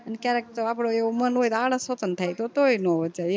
ક્યારેક તો આપડો એવો મન હોય તો આળસ હોતન થાય તો તોઈ નો વચાય